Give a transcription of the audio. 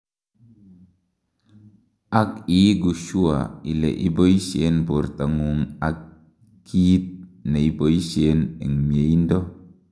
ak iigu sure ile iboishen bortangung ak kiit neiboishen en mieindo